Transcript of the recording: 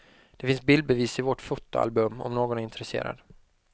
Det finns bildbevis i vårt fotoalbum, om någon är intresserad.